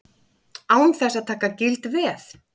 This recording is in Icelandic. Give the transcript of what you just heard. Án þess að taka gild veð.